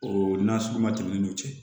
O nasugu ma tɛmɛ n'o cɛ